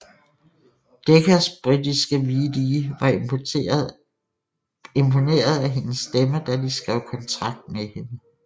Deccas britiske VD var imponeret af hendes stemme da de skrev kontrakt med hende